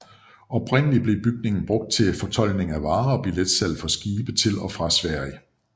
Oprindeligt blev bygningen brugt til fortoldning af varer og billetsalg for skibe til og fra Sverige